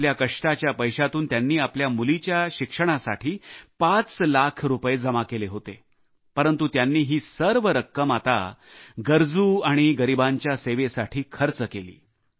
आपल्या कष्टाच्या पैशातून त्यांनी आपल्या मुलीच्या शिक्षणासाठी पाच लाख रुपये जमा केले होते परंतु त्यांनी ही सर्व रक्कम आता गरजू गरीबांच्या सेवेसाठी खर्च केली